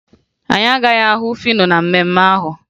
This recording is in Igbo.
Anyị agaghị ahụ Fino na mmemme ahụ